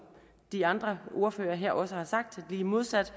de andre ordførere her også har sagt lige modsat